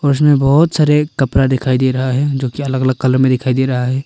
और इसमें बहोत सारे कपड़ा दिखाई दे रहा है जो की अलग अलग कलर में दिखाई दे रहा है।